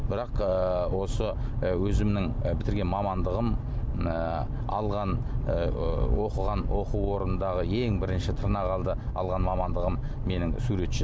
бірақ ыыы осы ы өзімнің і бітірген мамандығым ыыы алған ыыы оқыған оқу орнындағы ең бірінші тырнақалды алған мамандығым менің суретші